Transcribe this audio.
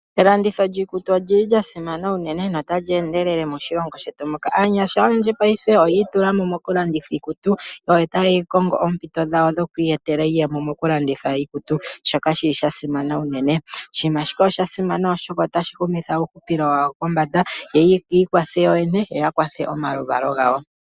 Elanditho lyiikutu olya simana unene notali endelele unene moshilongo shetu muka. Aanyasha oyendji paife oyi itula mo mokulanditha iikutu. Oyo tayi yape oompito dhawo dhoku iyetela iiyemo mokulanditha iikutu, shoka sha simana unene. Oshinima shika osha simana, oshoka otashi humitha uuhupilo wawo pombanda yo yi ikwathe yoyene yo ya kwathe omaluvalo gawo.